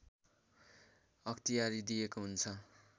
अख्तियारी दिएको हुन्छ